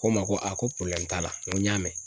Ko n ma ko a ko t'a la n ko n y'a mɛn.